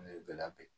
Ne bɛ labɛn